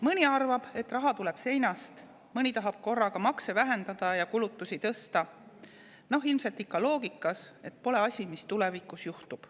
Mõni arvab, et raha tuleb seinast, mõni tahab korraga makse vähendada ja kulutusi tõsta, ilmselt ikka selles loogikas, et pole tema asi, mis tulevikus juhtub.